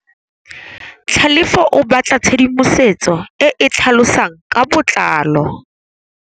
Tlhalefô o batla tshedimosetsô e e tlhalosang ka botlalô.